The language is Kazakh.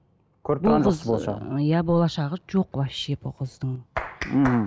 иә болашағы жоқ вообще бұл қыздың мхм